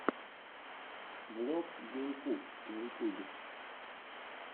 влог гейм куб на ютюбе